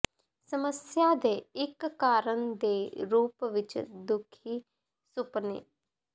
ਸਮੱਸਿਆ ਦੇ ਇੱਕ ਕਾਰਨ ਦੇ ਰੂਪ ਵਿੱਚ ਦੁਖੀ ਸੁਪਨੇ